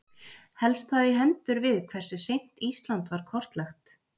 helst það í hendur við hversu seint ísland var kortlagt